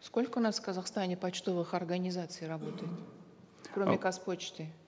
сколько у нас в казахстане почтовых орагнизаций работает кроме казпочты